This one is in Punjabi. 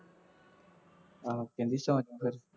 ਹਾਂ ਕਹਿੰਦੀ ਸੌ ਜਾਉ ਫੇਰ